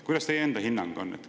Kuidas teie enda hinnang on?